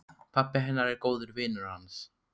Pabbi hennar er góður vinur hans.